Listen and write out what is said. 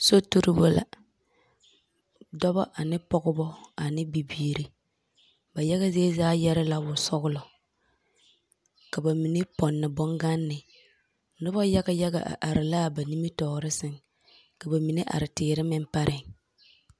Sotuibo la, dͻbͻ ane pͻgebͻ ane bibiiri. Ba yage zie zaa yԑre la wosͻgelͻ. Ka ba mine pͻnne boŋganne. Noba yage yaga a are la a ba nimitͻͻre sԑŋ, ka ba mine are teere meŋ pareŋ.